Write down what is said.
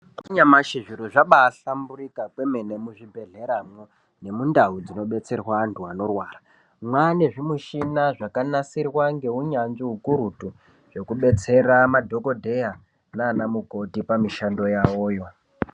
Mazuwa anyamashi zviro zvabahlamburika kwemene muzvibhedhleramwo nemundau dzinodetserwa vantu vanorwara mane zvimuchini zvakanasirwa ngeunyanzvi ukurutu zvekudetsera madhokodheya naanamukoti pamishando yawoyo.